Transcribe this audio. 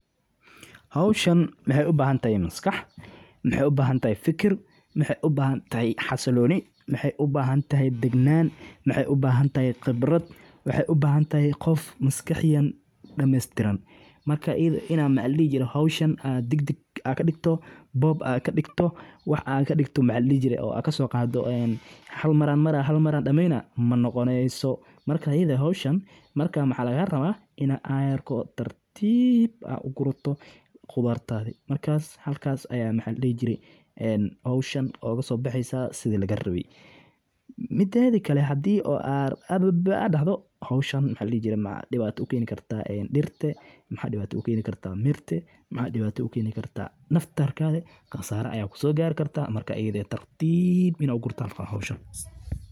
Goosashada reyxaanta, oo ah dhir udgoon leh oo inta badan loo beerto ujeeddooyin cunno iyo dawo, waxaa muhiim ah in si taxaddar leh loo sameeyo si loo ilaaliyo tayada caleemaha iyo urta dabiiciga ah ee ay leedahay. Marka reyxaanta la beero oo ay gaarto heer bislaansho ah, oo ah marka caleemaha ay cagaaran yihiin oo urtoodu xooggan tahay, waa in goosashadu dhacdaa subaxnimadii hore ka hor inta aan qorraxdu kululeyn si loo ilaaliyo huurada dhirta. Waxaa lagugula talinayaa in la gooyo ilaa saddex-meelood meel caleemaha sare ah, taasoo dhiirrigelisa koboc cusub oo degdeg ah.